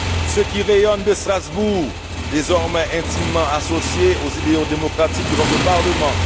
ceux qui rayonnent de Strasbourg, désormais intimement associés aux idéaux démocratiques de votre Parlement